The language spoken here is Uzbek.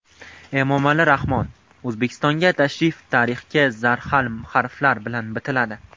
Emomali Rahmon: O‘zbekistonga tashrif tarixga zarhal harflar bilan bitiladi.